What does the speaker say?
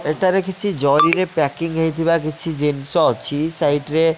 ଏଠାରେ କିଛି ଜରିରେ ପ୍ୟାକିଙ୍ଗ ହେଇଥିବା କିଛି ଜିନିଷ ଅଛି ସାଇଡ୍ ରେ--